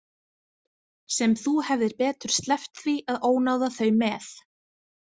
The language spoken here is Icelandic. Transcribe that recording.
Sem þú hefðir betur sleppt því að ónáða þau með.